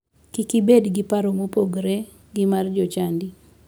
Kik ibed gi paro ma opogore gi mar jochadi.